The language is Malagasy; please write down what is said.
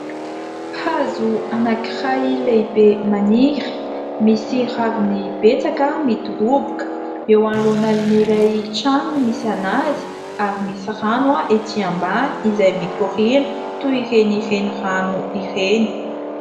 Hazo anankiray lehibe maniry, misy raviny betsaka midoroboka ; eo anoloana an'ilay trano no misy an'azy ary misy rano ety ambany izay mikoriana toy ireny renirano ireny.